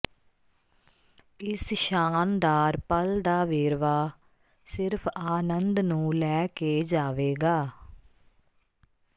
ਇਸ ਸ਼ਾਨਦਾਰ ਪਲ ਦਾ ਵੇਰਵਾ ਸਿਰਫ ਆਨੰਦ ਨੂੰ ਲੈ ਕੇ ਜਾਵੇਗਾ